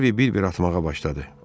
Harvi bir-bir atmağa başladı.